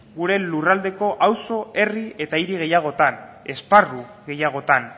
gure lurraldeko auzo herri eta hiri gehiagotan esparru gehiagotan